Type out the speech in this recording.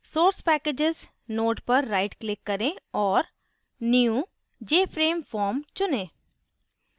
source packages node पर right click करें औऱ new jframe form चुनें